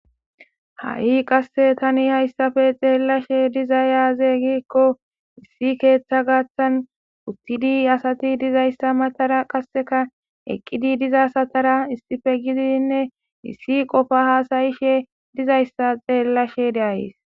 Ha7i qasse tani hayssafe xeellashe diza yaaze gikko issi keeththa gaththan uttidi asati dizayssa matara qasseka eqqidi diza satara issife gidiinne issi qofa haasayishe dizayssa xeellashe de'ayes.